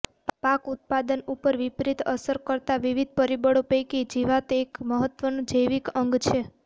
પાક ઉત્પાદન ઉપર વિપરિત અસર કરતા વિવિધ પરિબળો પૈકી જીવાત એક મહત્વનું જૈવિક અંગ છે